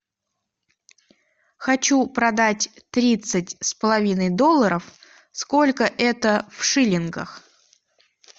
хочу продать тридцать с половиной долларов сколько это в шиллингах